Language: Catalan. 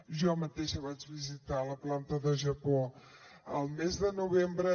jo mateixa vaig visitar la planta de japó el mes de novembre